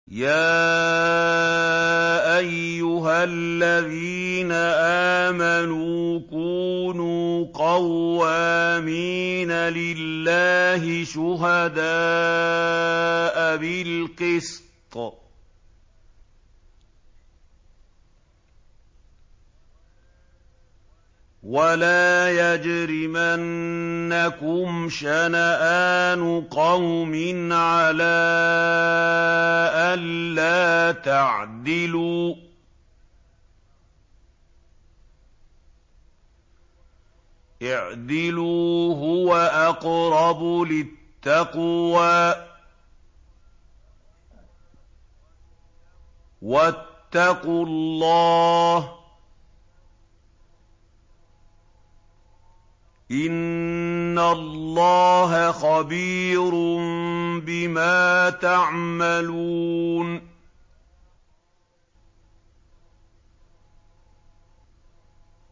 يَا أَيُّهَا الَّذِينَ آمَنُوا كُونُوا قَوَّامِينَ لِلَّهِ شُهَدَاءَ بِالْقِسْطِ ۖ وَلَا يَجْرِمَنَّكُمْ شَنَآنُ قَوْمٍ عَلَىٰ أَلَّا تَعْدِلُوا ۚ اعْدِلُوا هُوَ أَقْرَبُ لِلتَّقْوَىٰ ۖ وَاتَّقُوا اللَّهَ ۚ إِنَّ اللَّهَ خَبِيرٌ بِمَا تَعْمَلُونَ